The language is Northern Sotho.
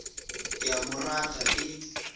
ke a mo rata e